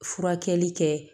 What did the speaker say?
Furakɛli kɛ